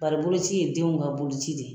Bari boloci ye denw ka boloci de ye.